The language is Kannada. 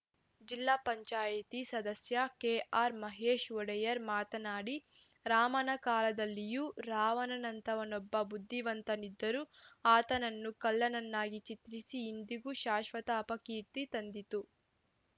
ಜಿಪಂ ಸದಸ್ಯ ಕೆಆರ್‌ ಮಹೇಶ್‌ ಒಡೆಯರ್‌ ಮಾತನಾಡಿ ರಾಮನ ಕಾಲದಲ್ಲಿಯೂ ರಾವಣನಂಥವನೊಬ್ಬ ಬುದ್ಧಿವಂತನಿದ್ದರೂ ಆತನನ್ನು ಖಳನನ್ನಾಗಿ ಚಿತ್ರಿಸಿ ಇಂದಿಗೂ ಶಾಶ್ವತ ಅಪಕೀರ್ತಿ ತಂದಿತು